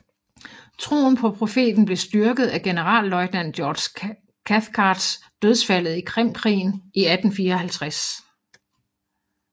Troen på profeten blev styrket af generalløjtnant George Cathcarts dødsfaldet i Krimkrigen i 1854